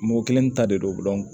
Mɔgɔ kelen ta de don